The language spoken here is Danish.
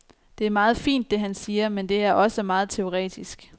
Det er meget fint, det han siger, men det er også meget teoretisk.